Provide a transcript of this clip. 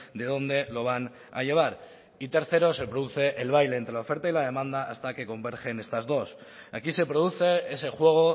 de dónde lo van a llevar y tercero se produce el baile entre la oferta y la demanda hasta que convergen estas dos aquí se produce ese juego